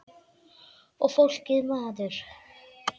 Og fólkið maður.